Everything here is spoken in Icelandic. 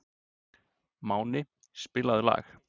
Máni, spilaðu lag.